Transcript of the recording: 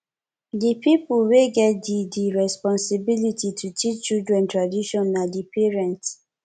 di pipo wey get di di responsibility to teach children tradition na di parents